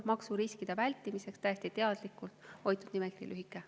Maksuriskide vältimiseks on täiesti teadlikult hoitud nimekirja lühikesena.